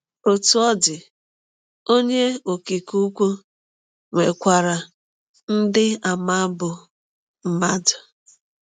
Otú ọ dị, Onye Okike Ukwu nwekwara ndị àmà bụ́ mmadụ.